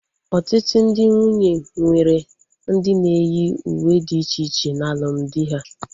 Ọtụtụ ndị nwunye nwere ndị na-eyi uwe dị iche iche na alụmdi ha